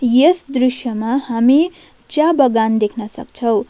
यस दृश्यमा हामी च्या बगान देख्न सक्छौं।